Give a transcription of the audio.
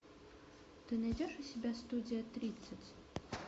ты найдешь у себя студия тридцать